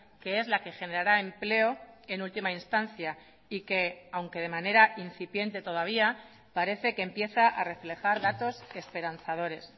que es la que generará empleo en última instancia y que aunque de manera incipiente todavía parece que empieza a reflejar datos esperanzadores